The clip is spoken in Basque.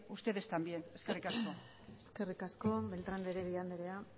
ustedes también eskerrik asko eskerrik asko beltrán de heredia andrea